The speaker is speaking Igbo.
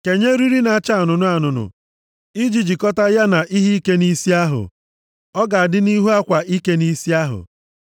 Kenye eriri na-acha anụnụ anụnụ i ji jikọta ya na ihe ike nʼisi ahụ; ọ ga-adị nʼihu akwa ike nʼisi ahụ.